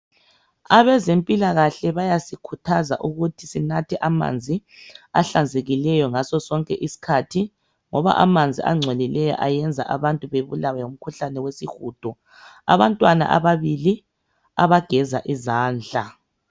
Abezempilakahle bayasikhuthaza ukuthi sinathe amanzi ahlanzekileyo ngasosonke iskhathi ngoba amanzi angcolileyo ayenza abantu babulawe ngumkhuhlane wesiwudo abantwana ababili bageza izandla.